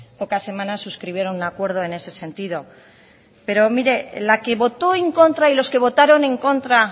pocas semanas suscribieron un acuerdo en ese sentido pero mire la que votó en contra y los que votaron en contra